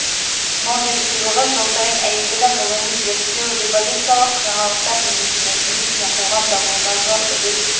нобель сыйлығы жыл сайын әйгілі ғылыми зерттеу революциялық жаңалықтар немесе мәдениет не қоғам дамуына зор үлес